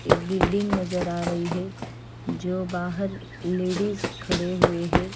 एक बिल्डिंग नज़र आरही है जो बहार लेडीज खड़े हुए है।